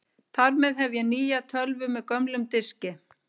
Þar með hef ég nýja tölvu með gömlum diski.